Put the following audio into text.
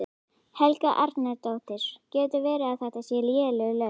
Helga Arnardóttir: Getur verið að þetta séu léleg laun?